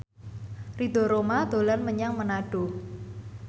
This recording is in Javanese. Ridho Roma dolan menyang Manado